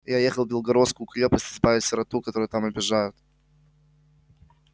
я ехал в белгородскую крепость избавить сироту которую там обижают